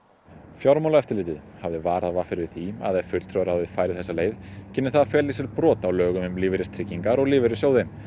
fjármálaeftirlitið hafði varað v r við því að ef fulltrúaráðið færi þessa leið kynni það að fela í sér brot á lögum um lífeyristryggingar og lífeyrissjóði